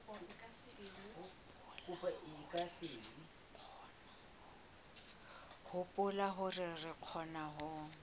hopola hore re kgona ho